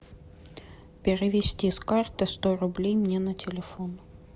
перевести с карты сто рублей мне на телефон